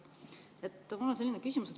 Mul on selline küsimus.